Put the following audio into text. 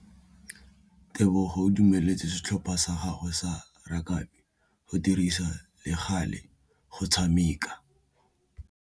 Tebogô o dumeletse setlhopha sa gagwe sa rakabi go dirisa le galê go tshameka.